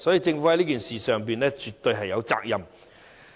政府在此事上絕對有責任。